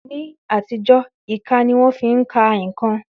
Ní àtijọ́, ìka ni wón fi ń ka ǹkan